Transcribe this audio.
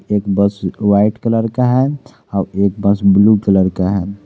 एक bus white colour का है और एक बस ब्लू कलर का है।